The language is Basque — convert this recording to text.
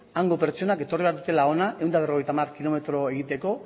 hango pertsonak etorri behar dutela hona ehun eta berrogeita hamar kilometro egiteko